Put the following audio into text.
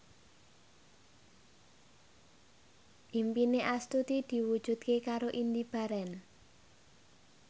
impine Astuti diwujudke karo Indy Barens